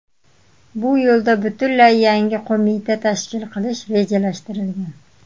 Bu yo‘lda butunlay yangi qo‘mita tashkil qilish rejalashtirilgan.